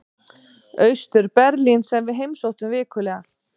Austur-Berlín sem við heimsóttum vikulega.